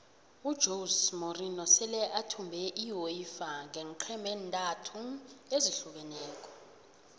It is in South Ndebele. ujose morinho sele athumbe iuefa ngeenqhema ezintathu ezahlukeneko